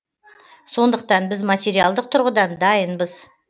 сондықтан біз материалдық тұрғыдан дайынбыз